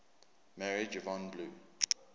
married yvonne blue